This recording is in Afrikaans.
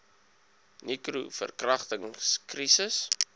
nicro verkragtings krisis